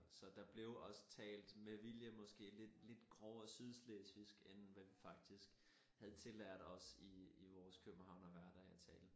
Og så der blev også talt med vilje måske lidt lidt grovere sydslesvigsk end hvad vi faktisk havde tillært os i i vores københavnerhverdag at tale